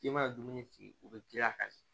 I mana dumuni sigi o bɛ giriya a kan de